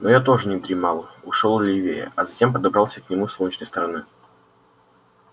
но я тоже не дремал ушёл левее а затем подобрался к нему с солнечной стороны